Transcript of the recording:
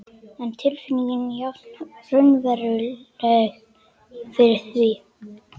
En tilfinningin jafn raunveruleg fyrir því.